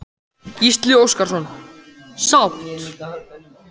Gísli Óskarsson: Sátt?